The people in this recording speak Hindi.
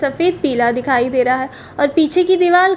सफेद पीला दिखाई दे रहा है और पीछे की दीवाल --